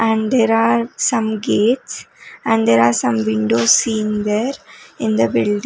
and there are some gates and there are some windows seen there in the building.